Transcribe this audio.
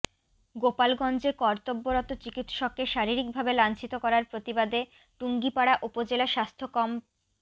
গোপালগঞ্জে কর্তব্যরত চিকিৎসককে শারীরিকভাবে লাঞ্চিত করার প্রতিবাদে টুঙ্গিপাড়া উপজেলা স্বাস্থ্য কমপ